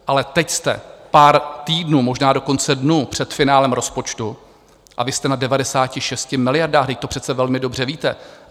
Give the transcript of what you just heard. Ale teď jste pár týdnů, možná dokonce dnů před finále rozpočtu, a vy jste na 96 miliardách, vždyť to přece velmi dobře víte.